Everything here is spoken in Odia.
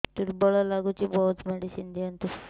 ଦୁର୍ବଳ ଲାଗୁଚି ବହୁତ ମେଡିସିନ ଦିଅନ୍ତୁ